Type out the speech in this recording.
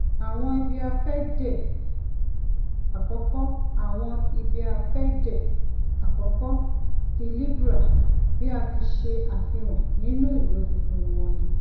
awọn ibiafẹde akọkọ awọn ibiafẹde akọkọ ti libra bi a ti ṣe afihan ninu iwe funfun wọn ni